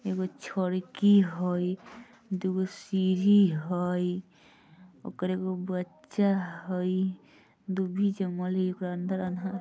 एगो छड़की हाई दुगो सीढ़ी हाई ओर्क्र एगो बच्चा हाई दूभी जमल है अंदर अंदर |